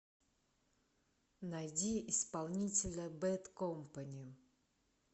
найди исполнителя бэд компани